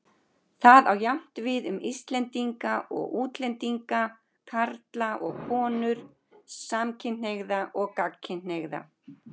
Það á jafnt við um Íslendinga og útlendinga, karla og konur, samkynhneigða og gagnkynhneigða.